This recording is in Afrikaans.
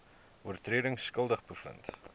oortredings skuldig bevind